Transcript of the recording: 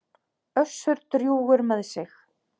Össur drjúgur með sig.